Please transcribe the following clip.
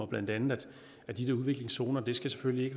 blandt andet at de der udviklingsområder selvfølgelig